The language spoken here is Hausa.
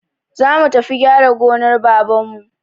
Zamu tafi gyara gonar babanmu.